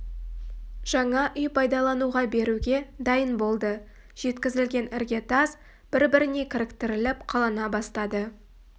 жаңа үй пайдалануға беруге дайын болды жеткізілген ірге тас бір-біріне кіріктіріліп қалана бастады